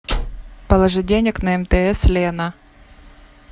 положить денег на мтс лена